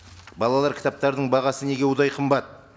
балалар кітаптарының бағасы неге удай қымбат